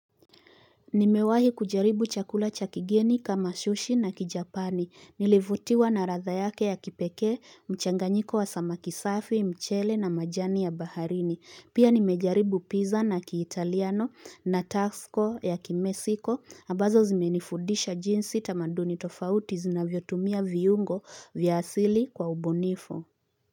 Nimewahi kujaribu chakula cha kigeni kama shushi na kijapani. Nilivutiwa na ratha yake ya kipekee, mchanganyiko wa samaki safi, mchele na majani ya baharini. Pia nimejaribu pizza na kiitaliano na taxco ya kimesiko. Abazo zimenifudisha jinsi tamaduni tofauti zinavyotumia viungo vya asili kwa ubunifu.